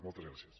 moltes gràcies